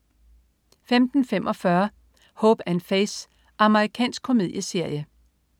15.45 Hope & Faith. Amerikansk komedieserie